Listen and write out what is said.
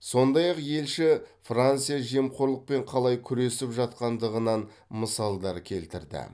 сондай ақ елші франция жемқорлықпен қалай күресіп жатқандығынан мысалдар келтірді